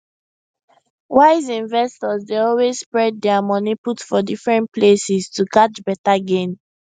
wise investors dey always spread their money put for different places to catch better gain